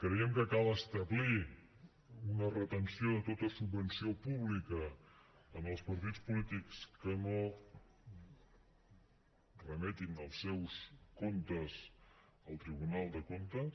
creiem que cal establir una retenció de tota subvenció pública en els partits polítics que no remetin els seus comptes al tribunal de comptes